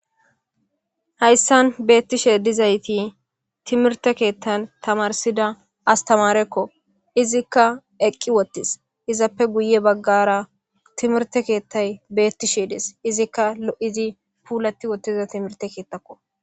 Haysan betishe dizayti timirte kethan tamarsida astamareko izika eqi wotis izappe guye bagara timirte kethay betishe dees izika lozi pulati wotida timirte kethako.